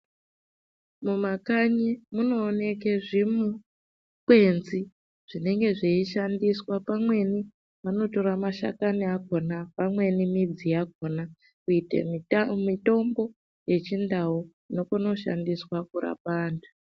Mumakanyi munooneke zvimu kwenzi zvinenge zveishandiswa pamweni vanotora mashakani akona pamweni midzi yakona kuite muta mutombo yechindau inokone kushandiswa pakurapa antu.